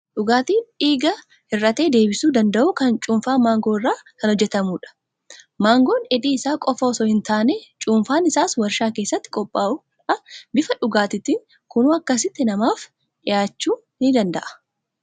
Dhugaatiin dhiiga hir'ate deebisuu danda'u kun cuunfaa maangoo irraa kan hojjetamudha. Maangoon dheedhii isaa qofaa osoo hin taane, cuunfaan isaas waarshaa keessatti qophaa'uudhaan bifa dhugaatiitiin kunoo akkasitti namaaf dhiyaachuu ni danda'a.